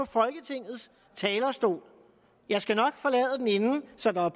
folketingets talerstol jeg skal nok forlade den inden så der er